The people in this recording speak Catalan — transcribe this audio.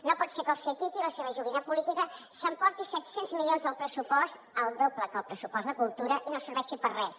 no pot ser que el ctti la seva joguina política s’emporti set cents milions del pressupost el doble que el pressupost de cultura i no serveixi per a res